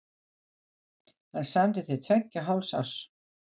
Hann samdi til tveggja og hálfs árs.